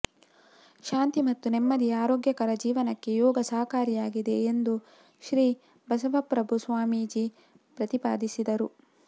ಶಾಂತಿ ಮತ್ತು ನೆಮ್ಮದಿಯ ಆರೋಗ್ಯಕರ ಜೀವನಕ್ಕೆ ಯೋಗ ಸಹಕಾರಿಯಾಗಿದೆ ಎಂದು ಶ್ರೀಬಸವಪ್ರಭು ಸ್ವಾಮೀಜಿ ಪ್ರತಿಪಾದಿಸಿದರು